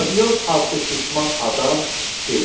Pabion adlı şişman adam dedi: